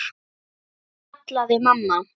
kallaði mamma.